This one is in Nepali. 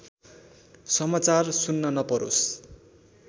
समाचार सुन्न नपरोस्